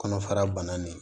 Kɔnɔfara banna nin ye